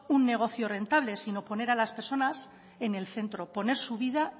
un negocio rentable sino poner a las personas en el centro poner su vida